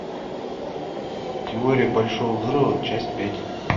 теория большого взрыва часть пять